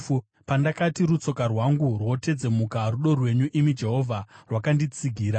Pandakati, “Rutsoka rwangu rwotedzemuka,” rudo rwenyu, imi Jehovha, rwakanditsigira.